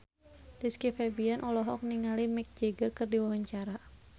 Rizky Febian olohok ningali Mick Jagger keur diwawancara